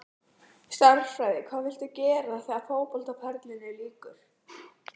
Stærðfræði Hvað viltu gera þegar að fótboltaferlinum lýkur?